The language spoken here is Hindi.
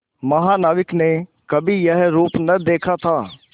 महानाविक ने कभी यह रूप न देखा था